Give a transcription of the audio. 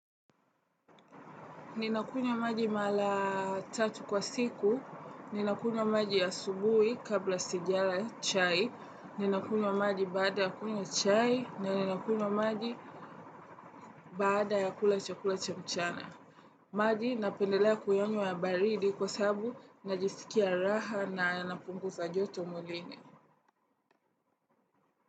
Ninakunywa maji mara tatu kwa siku. Ninakunywa maji ya asubuhi kabla sijala chai, ninakunywa maji baada ya kunywa chai, na ninakunywa maji baada ya kula chakula cha mchana. Maji napendelea kuyanywa ya baridi kwasababu najisikia raha na napunguza joto mwilini.